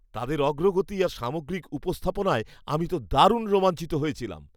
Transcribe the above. তাদের অগ্রগতি আর সামগ্রিক উপস্থাপনায় আমি তো দারুণ রোমাঞ্চিত হয়েছিলাম।